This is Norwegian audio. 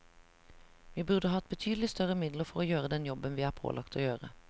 Vi burde hatt betydelig større midler for å gjøre den jobben vi er pålagt å gjøre.